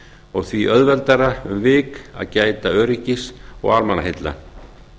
og því auðveldara um vik að gæta öryggis og almannaheilla